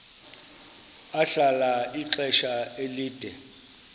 ahlala ixesha elide